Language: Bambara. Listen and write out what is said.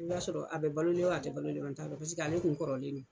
I b'a sɔrɔ a bɛ balolen o a tɛ balolen n kɔni t'a dɔn paseke ale kun kɔrɔlen no.